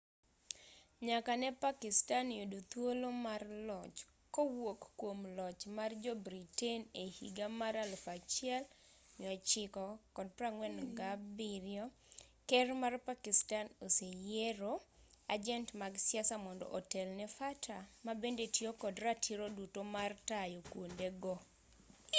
nyaka ne pakistan yud thuolo mar loch kowuok kuom loch mar jo-britain e higa mar 1947 ker ma pakistan oseyiero ajent mag siasa mondo otel ne fata mabende tiyo kod ratiro duto mar tayo kuonde go